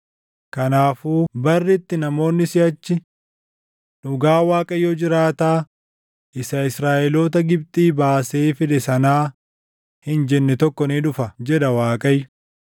“Kanaafuu barri itti namoonni siʼachi, ‘Dhugaa Waaqayyo jiraataa isa Israaʼeloota Gibxii baasee fide sanaa’ hin jenne tokko ni dhufa” jedha Waaqayyo;